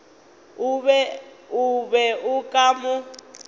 o be o ka mo